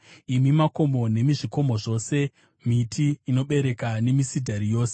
imi makomo nemi zvikomo zvose, miti inobereka nemisidhari yose,